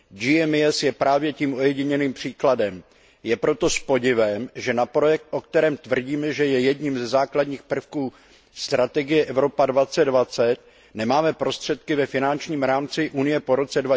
GMES je právě tím ojedinělým příkladem. Je proto s podivem, že na projekt, o kterém tvrdíme, že je jedním ze základních prvků strategie Evropa 2020, nemáme prostředky ve finančním rámci Unie po roce